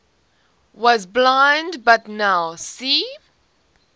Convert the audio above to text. was blind but now see